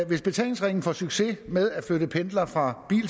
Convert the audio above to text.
hvis betalingsringen får succes med at flytte pendlere fra